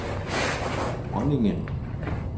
dronningen